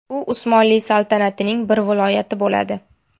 U Usmonli saltanatining bir viloyati bo‘ladi.